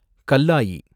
கல்லாயி